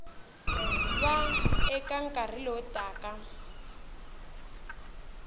va eka nkarhi lowu taka